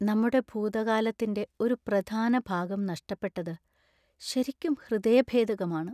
നമ്മുടെ ഭൂതകാലത്തിന്‍റെ ഒരു പ്രധാന ഭാഗം നഷ്ടപ്പെട്ടത് ശരിക്കും ഹൃദയഭേദകമാണ്.